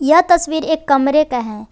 यह तस्वीर एक कमरे का है।